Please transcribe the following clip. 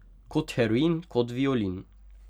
Kot heroin, kot violin.